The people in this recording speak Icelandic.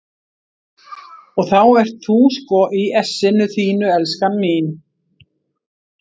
Og þá ert þú sko í essinu þínu, elskan mín!